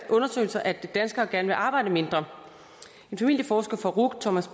undersøgelser at danskere gerne vil arbejde mindre en familieforsker fra ruc thomas